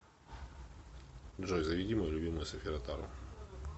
джой заведи мою любимую софи ротару